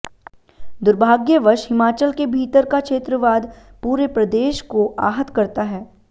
दुर्भाग्यवश हिमाचल के भीतर का क्षेत्रवाद पूरे प्रदेश को आहत करता है